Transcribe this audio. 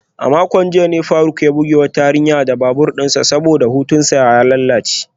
A makon jiya ne faruk ya bugi wata yarinya da babur dinsa saboda hutunsa ya lalace.